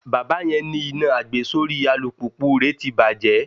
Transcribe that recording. Bàbá yẹn ní iná àgbesórí alùpùpù rè ti bàjẹ́.